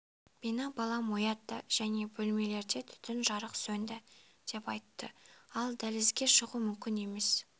мені балам оятты және бөлмелерде түтін жарық сөнді деп айтты ал дәлізге шығу мүмкін емес